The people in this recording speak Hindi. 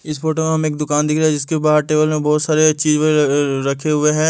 इस फोटो हम एक दुकान दिख रहा है जिसके बाहर टेबल में बहुत सारे चीज रखे हुए हैं।